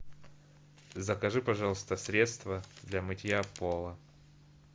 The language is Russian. закажи пожалуйста средство для мытья пола